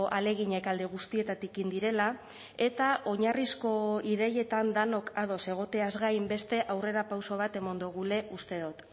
ahaleginak alde guztietatik egin direla eta oinarrizko ideietan denok ados egoteaz gain beste aurrerapauso bat eman dugula uste dut